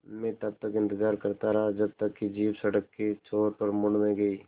मैं तब तक इंतज़ार करता रहा जब तक कि जीप सड़क के छोर पर मुड़ न गई